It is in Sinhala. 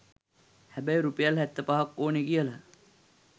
හැබැයි රුපියල් හැත්ත පහක් ඕන කියල